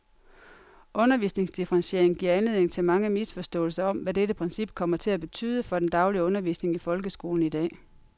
Undervisningsdifferentiering giver anledning til mange misforståelser om, hvad dette princip kommer til at betyde for den daglige undervisning i folkeskolen i dag.